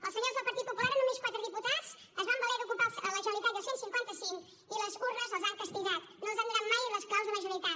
els senyors del partit popular amb només quatre diputats es van valer d’ocupar la generalitat i el cent i cinquanta cinc i les urnes els han castigat no els han donat mai les claus de la generalitat